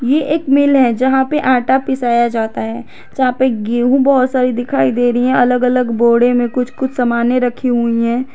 यह एक मील है जहां पे आटा पिसाया जाता है जहां पर गेहूं बहुत सारी दिखाई दे रही है अलग-अलग बोरे में कुछ कुछ सामाने रखी हुई है।